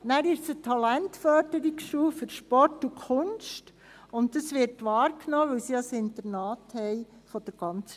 Zudem ist es eine Talentförderungsschule für Sport und Kunst, und diese wird von der ganzen Schweiz in Anspruch genommen, da sie ein Internat haben.